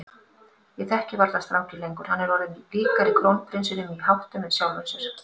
Ég þekki varla strákinn lengur, hann er orðinn líkari krónprinsinum í háttum en sjálfum mér.